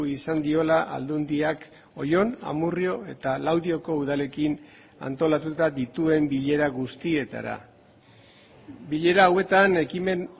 izan diola aldundiak oion amurrio eta laudioko udalekin antolatuta dituen bilera guztietara bilera hauetan ekimen